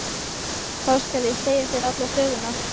Þá skal ég segja þér alla söguna.